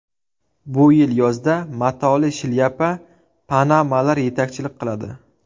Bu yil yozda matoli shlyapa panamalar yetakchilik qiladi .